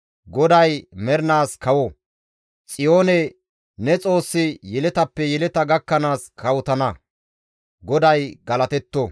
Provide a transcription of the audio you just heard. GODAY mernaas kawo; Xiyoone! Ne Xoossi yeletappe yeleta gakkanaas kawotana. GODAY galatetto!